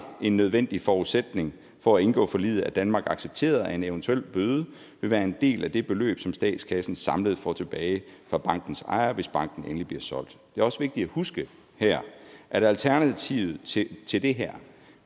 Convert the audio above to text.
en nødvendig forudsætning for at indgå forliget at danmark accepterede at en eventuel bøde vil være en del af det beløb som statskassen samlet får tilbage fra bankens ejer hvis banken endelig bliver solgt det er også vigtigt at huske her at alternativet til det her